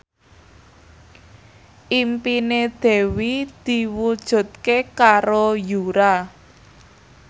impine Dewi diwujudke karo Yura